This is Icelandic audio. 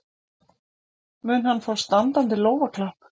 Mun hann fá standandi lófaklapp?